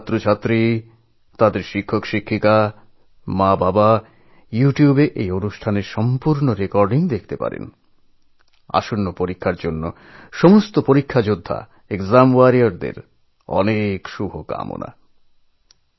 সমস্ত বিদ্যার্থী তাদের শিক্ষক পিতামাতা ইউটিউবে এই কার্যক্রমের রেকর্ডিং দেখতে পারেন আসন্ন পরীক্ষাযোদ্ধাদের ওসংশ্লিষ্ট সকলকে আমার আগাম শুভকামনা জানালাম